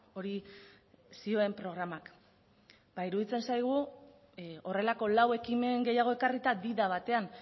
hori zioen programak iruditzen zaigu horrelako lau ekimen gehiago ekarrita di da batean